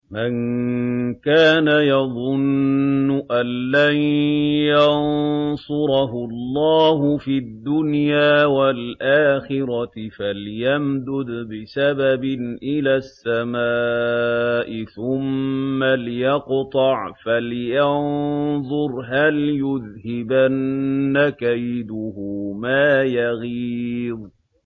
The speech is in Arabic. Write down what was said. مَن كَانَ يَظُنُّ أَن لَّن يَنصُرَهُ اللَّهُ فِي الدُّنْيَا وَالْآخِرَةِ فَلْيَمْدُدْ بِسَبَبٍ إِلَى السَّمَاءِ ثُمَّ لْيَقْطَعْ فَلْيَنظُرْ هَلْ يُذْهِبَنَّ كَيْدُهُ مَا يَغِيظُ